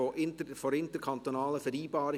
– Dies ist nicht der Fall.